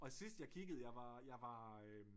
Og sidst jeg kiggede jeg var jeg var